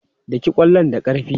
Daki ƙwallon da ƙarfi!